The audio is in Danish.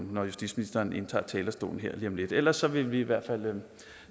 når justitsministeren indtager talerstolen her lige om lidt ellers vil vi i hvert fald